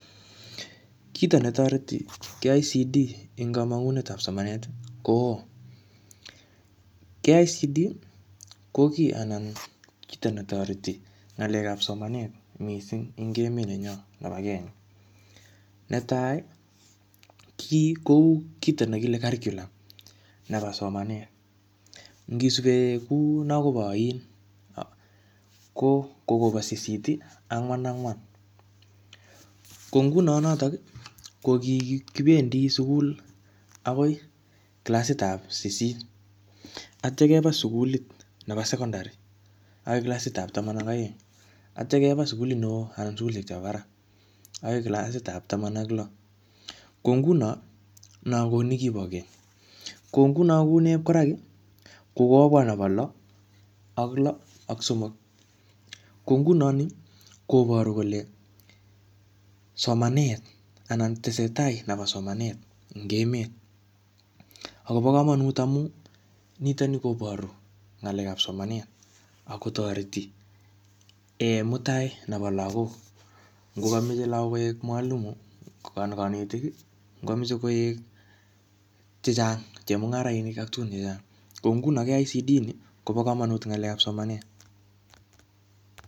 Kito netoreti KICD eng kamangunet ap somanet, ko oo. KICD, ko kiy anan kito netoreti ng'alekap somanet missing eng emet nenyo nebo Kenya. Netai, kiy kou kito ne kile curriculum nebo soanet. Ngisube kuu nakobo ain, ko koba sisit-angwan-angwan. Ko nguno notok, ko kikibendi sukul akoi klasit ap sisit. Atya keba sukulit nebo secondary akoi kalsit ap taman aka aeng. Atya keba sukulit ne oo anan sukulishek chebo barak, akoi klasit ap taman ak lo. Ko nguno, no ko nekibo keny. Ko nguno kuu nep koaraki, ko kobwa nebo lo, ak lo ak somok. Ko nguno nii, koboru kole somanet anan tesetai nebo somanet ing emet. Akobo komonut amu nitoni koboru ng'alekap somanet, akotoreti um mutai nebo lagok. Ngokameche lagok koek mwalimu, anan kanetik. Ngokameche koek chechang chemung; arainik ak tugun chechang. Ko nguno KICD ni, kobo kamanut ng'alekap somanet